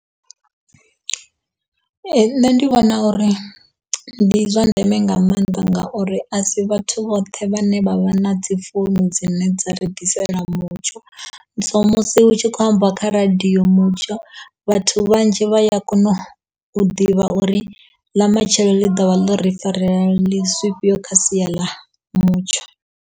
Ee, nṋe ndi vhona uri ndi zwa ndeme nga maanḓa ngauri a si vhathu vhoṱhe vhane vha vha na dzi founu dzine dza ri ḓisela mutsho, so musi hu tshi khou ambiwa kha radio mutsho vhathu vhanzhi vha ya kona u ḓivha uri ḽa matshelo ḽi ḓo vha ḽo ri farela zwifhio kha sia ḽa mutsho.